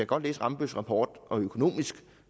godt læse rambølls rapport og økonomisk